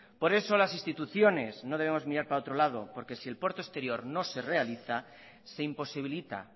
por eso las instituciones no debemos mirar para otro lado porque si el puerto exterior no se realiza se imposibilita